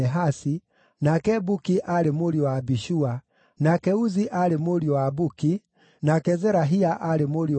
nake Buki aarĩ mũriũ wa Abishua, nake Uzi aarĩ mũriũ wa Buki, nake Zerahia aarĩ mũriũ wa Uzi,